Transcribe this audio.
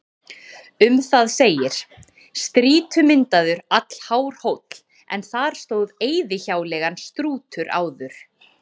Um það segir: Strýtumyndaður, allhár hóll, en þar stóð eyðihjáleigan Strútur áður.